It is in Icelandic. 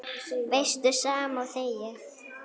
Veistu, sama og þegið.